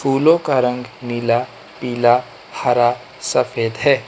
फूलों का रंग नीला पीला हरा सफेद है।